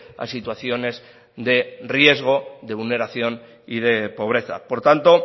a situaciones de riesgo de vulneración y de pobreza por tanto